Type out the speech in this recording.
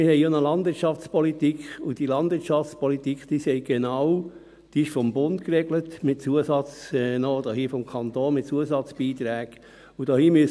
Wir haben eine Landwirtschaftspolitik, und diese Landwirtschaftspolitik besagt genau, dass sie ist vom Bund geregelt ist, noch mit Zusatzbeiträgen des Kantons.